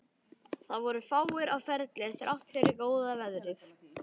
Það voru fáir á ferli þrátt fyrir góða veðrið.